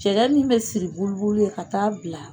Cɛgɛ min be siri buli buli ye ka t'a bila